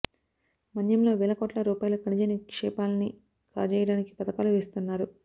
మన్యంలో వేల కోట్ల రూపాయల ఖనిజ నిక్షేపాల్ని కాజేయడానికి పథకాలు వేస్తున్నారు